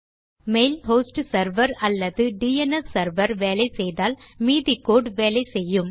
mail host server அல்லது DNS server வேலை செய்தால் மீதி கோடு வேலை செய்யும்